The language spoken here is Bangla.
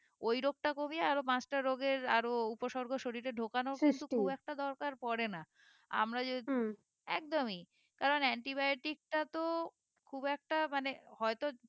ওই রোগটা কমিয়ে আরো পাঁচটা রোগের আরো উপসর্গ শরীরে ঢোকানো খুব একটা দরকার পরে না আমরা যেহুতু একদমই কারণ antibiotic টা তো খুব একটা মানে হয়তো